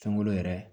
Fɛnko yɛrɛ